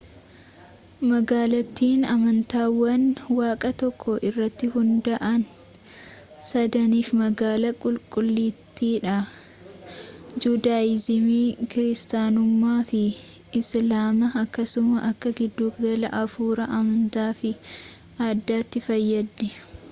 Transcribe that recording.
magaalattiin amantaawwan waaqa tokko irratti hunda'an sadaniif magaalaa qulqullittiidha juudaayizimii kiiristaanummaa fi islaama akkasumas akka giddugala hafuuraa amantaa fi aadaatti fayyaddi